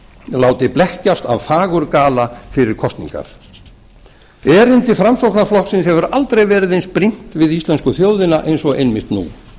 láti blekkjast af fagurgala fyrir kosningar erindi framsóknarflokksins hefur aldrei verið eins brýnt við íslensku þjóðina og einmitt nú